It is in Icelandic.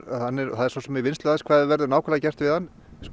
það er svo sem í vinnslu aðeins hvað verður nákvæmlega gert við hann